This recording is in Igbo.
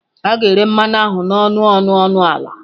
A ga-ere mmanụ ahụ n'ọnụ ọnụ ọnụ ala.